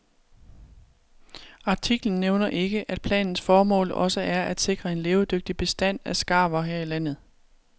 Artiklen nævner ikke, at planens formål også er at sikre en levedygtig bestand af skarver her i landet.